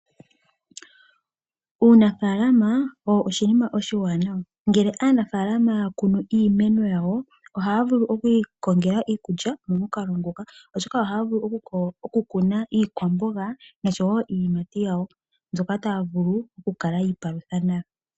Uunafala owo oshinima oshiwanawa, ngele aanafalama ya kunu iimeno yawo ohaya vulu oku ikongela iikulya momukalo nguka, oshoka ohaya vulu oku kuna iikwamboga noshowo iiyimati yawo mbyoka taya vulu oku kala yi ipalutha nayo.